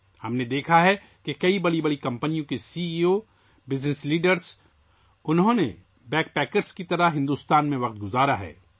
ہم نے دیکھا ہے کہ بہت سی بڑی کمپنیوں کے C E O, business leaders, انہوں نے بھارت میں بیگ پائپر کے طور پر وقت گزارا ہے